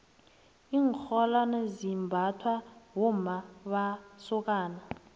iinrholwane zimbathwa bommamasokana